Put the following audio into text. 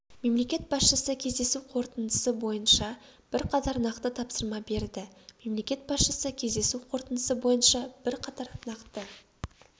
мемлекет басшысы кездесу қорытындысы бойынша бірқатар нақты тапсырма берді мемлекет басшысы кездесу қорытындысы бойынша бірқатар нақты